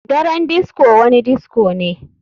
Daren disco wani disco ne.